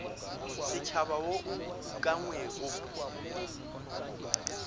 setšhaba wo o ukangwego mo